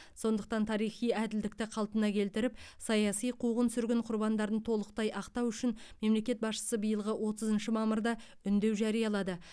сондықтан тарихи әділдікті қалпына келтіріп саяси қуғын сүргін құрбандарын толықтай ақтау үшін мемлекет басшысы биылғы отызыншы мамырда үндеу жариялады